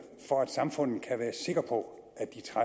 for at samfundet kan være sikker på